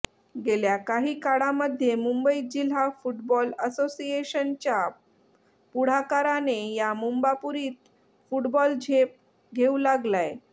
गेल्या काही काळामध्ये मुंबई जिल्हा फुटबॉल असोसिएशनच्या पुढाकाराने या मुंबापुरीत फुटबॉल झेप घेऊ लागलाय